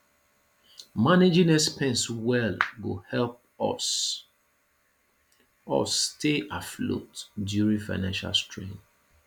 managing expenses well go help us us stay afloat during financial strain